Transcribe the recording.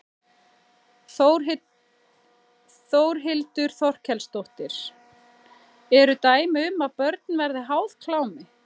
Þórhildur Þorkelsdóttir: Eru dæmi um að börn verði háð klámi?